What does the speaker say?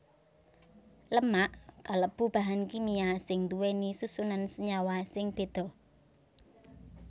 Lemak kalebu bahan kimia sing nduwèni susunan senyawa sing beda